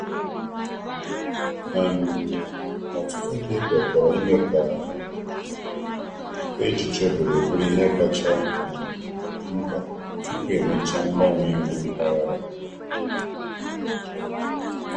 um Ọtụtụ ndị kwekọrọ ime ka echiche obodo bụrụ ihe kacha um mkpa tupu emechaa mgbanwe iwu mpaghara.